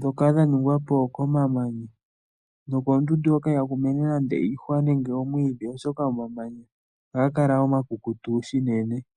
dhoka dhaningwa po komamanya nokoondundu hoka ihaku mene nande iihwa nenge omwiidhi oshoka omamanya ohaga kala omakukutu shinene.